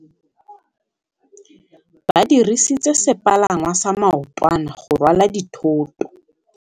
Ba dirisitse sepalangwasa maotwana go rwala dithôtô.